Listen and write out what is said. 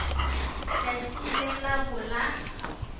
tšatši le la bo la